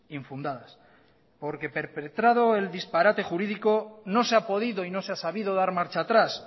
infundadas porque perpetrado el disparate jurídico no se ha podido y no se ha sabido dar marcha atrás